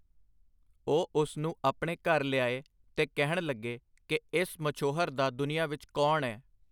ਉਹ ਉਸ ਨੂੰ ਆਪਣੇ ਨਾਲ ਆਪਣੇ ਘਰ ਲਿਆਏ ਤੇ ਕਹਿਣ ਲੱਗੇ ਕਿ ਇਸ ਮਛੋਹਰ ਦਾ ਦੁਨੀਆਂ ਵਿੱਚ ਕੌਣ ਐ.